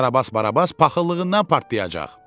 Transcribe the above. Karabas Barabas paxıllığından partlayacaq.